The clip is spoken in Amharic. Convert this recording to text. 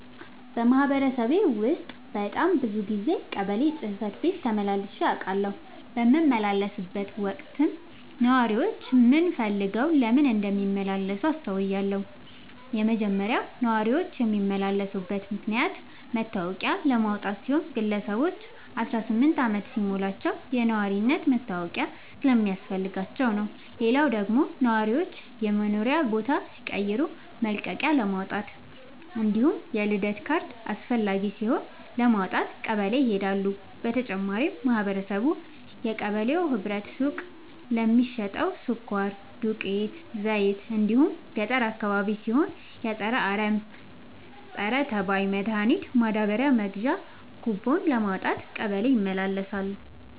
በማህበረሰቤ ውስጥ በጣም ብዙ ጊዜ ቀበሌ ጽህፈት ቤት ተመላልሼ አውቃለሁ። በምመላለስበትም ወቅት ነዋሪዎች ምን ፈልገው ለምን እንደሚመላለሱ አስተውያለሁ የመጀመሪያው ነዋሪዎች የሚመላለሱበት ምክንያት መታወቂያ ለማውጣት ሲሆን ግለሰቦች አስራስምንት አመት ሲሞላቸው የነዋሪነት መታወቂያ ስለሚያስፈልጋቸው ነው። ሌላው ደግሞ ነዋሪዎች የመኖሪያ ቦታ ሲቀይሩ መልቀቂያለማውጣት እንዲሁም የልደት ካርድ አስፈላጊ ሲሆን ለማውጣት ቀበሌ ይሄዳሉ። በተጨማሪም ማህበረቡ የቀበሌው ህብረት ሱቅ ለሚሸተው ስኳር፣ ዱቄት፣ ዘይት እንዲሁም ገጠር አካባቢ ሲሆን የፀረ አረም፣ ፀረተባይ መድሀኒት ማዳበሪያ መግዣ ኩቦን ለማውጣት ቀበሌ ይመላለሳሉ።